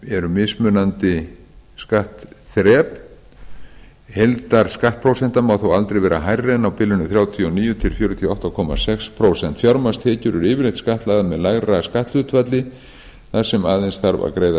eru mismunandi skattþrep heildarskattprósenta má þó aldrei vera hærri en á bilinu þrjátíu og níu til fjörutíu og átta komma sex prósent fjármagnstekjur eru yfirleitt skattlagðar með lægra skatthlutfalli þar sem aðeins þarf að greiða